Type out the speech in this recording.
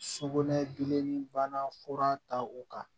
Sugunɛ gileni bana fura ta o kan